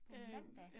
På mandag